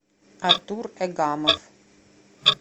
артур эгамов